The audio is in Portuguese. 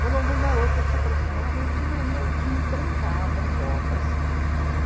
Quando algum garoto se aproximava, eu tinha eu me trancava em copas.